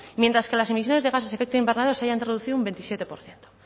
mientras que las emisiones de gases efecto invernadero se hayan reducido un veintisiete por ciento